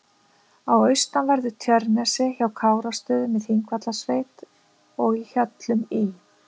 á austanverðu Tjörnesi, hjá Kárastöðum í Þingvallasveit og í Hjöllum í